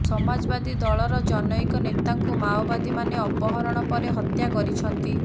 ସମାଜବାଦୀ ଦଳର ଜନୈକ ନେତାଙ୍କୁ ମାଓବାଦୀ ମାନେ ଅପହରଣ ପରେ ହତ୍ୟା କରିଛନ୍ତି